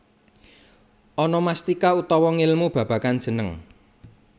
Onomastika utawa ngelmu babagan jeneng